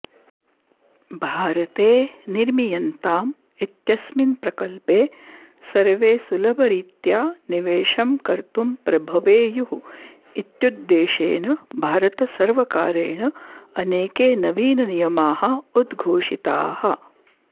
भारते निर्मीयन्ताम् इत्यस्मिन् प्रकल्पे सर्वे सुलभरीत्या निवेशं कर्तुं प्रभवेयुः इत्युद्देशेन भारतसर्वकारेण अनेके नवीननियमाः उद्घोषिताः